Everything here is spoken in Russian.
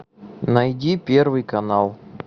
найди первый канал